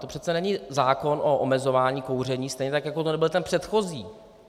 To přece není zákon o omezování kouření, stejně tak jako to nebyl ten předchozí.